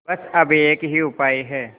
बस अब एक ही उपाय है